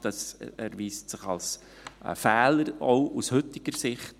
Das erweist sich als Fehler, auch aus heutiger Sicht.